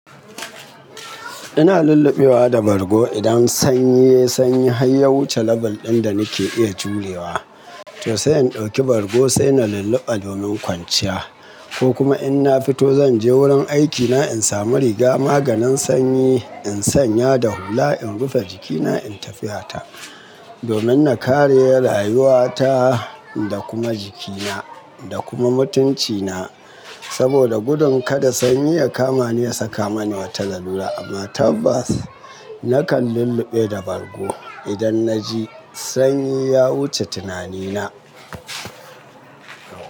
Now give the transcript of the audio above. Ina lullubewa da bargo idan sanyi sanyi har ya wuce label ɗin da nake iya jurewa. To sai in ɗauki bargo sai na lulluɓa domin kwanciya ko kuma in na fito zan je wurin aikina in samu riga maganin sanyi in sanya da hula in rufe jikina in tafiya ta domin na kare rayuwata da kuma jikina da kuma mutuncina. Saboda gudun kada sanyi ya kama ni ya saka mani wata lalura amma tabbas nakan lulluɓe da bargo idan na ji sanyi ya wuce tunanina.